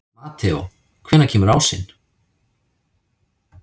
Mateó, hvenær kemur ásinn?